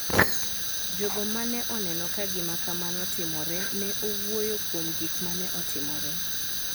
Jogo ma ne oneno ka gima kamano timore ne owuoyo kuom gik ma ne otimore.